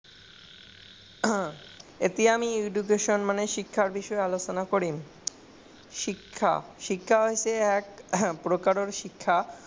এতিয়া আমি education মানে শিক্ষা বিষয়ে আলোচনা কৰিম। শিক্ষা হৈছে একপ্ৰকাৰৰ শিক্ষা।